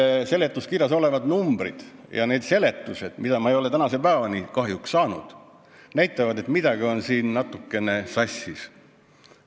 Need seletuskirjas olevad numbrid ja need seletused, mida ma ei ole tänase päevani kahjuks saanud, näitavad, et midagi on siin natukene sassis.